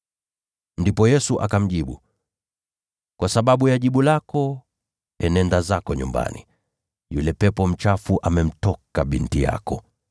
Ndipo Yesu akamjibu, “Kwa sababu ya jibu lako, nenda zako nyumbani; yule pepo mchafu amemtoka binti yako.”